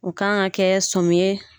U kan ka kɛ sɔmi ye